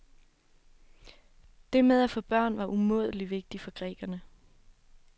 Det med at få børn var umådelig vigtigt for grækerne.